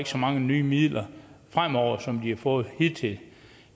så mange nye midler fremover som de har fået hidtil